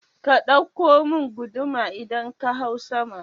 Ka ɗauko mun guduma idan ka hau sama